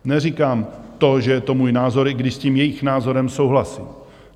Neříkám to, že je to můj názor, i když s tím jejich názorem souhlasím.